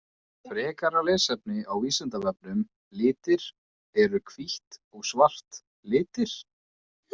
Frekara lesefni á Vísindavefnum Litir Eru hvítt og svart litir?